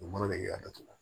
U mana de y'a datugu